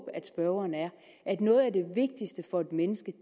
at spørgeren er at noget af det vigtigste for et menneske